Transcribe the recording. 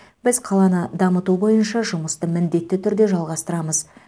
біз қаланы дамыту бойынша жұмысты міндетті түрде жалғастырамыз